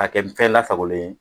Ka kɛ fɛn lasagolen ye.